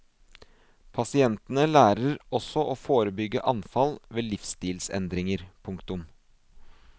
Pasientene lærer også å forebygge anfall ved livsstilsendringer. punktum